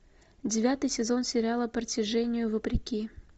девятый сезон сериала притяжению вопреки